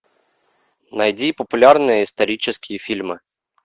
найди популярные исторические фильмы